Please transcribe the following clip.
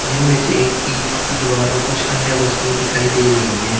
जिनमें से एक ईंट की दीवार है और कुछ वस्तुएं दिखाई दे रही है।